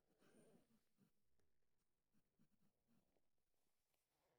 Ikhtiyaarada waxbarashada dabacsan ayaa lagama maarmaan u ah dadka barokacay.